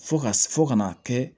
Fo ka fɔ ka n'a kɛ